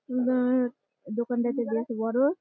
দোকনাটা তো বেশ বড়।